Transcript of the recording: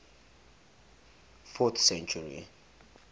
fourth century